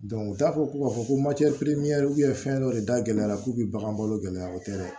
u t'a fɔ ko ka fɔ ko fɛn dɔ de da gɛlɛyara k'u bɛ bagan balo gɛlɛya o tɛ dɛ